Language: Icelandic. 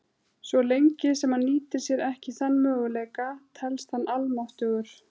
Svo lengi sem hann nýtir sér ekki þann möguleika, telst hann almáttugur.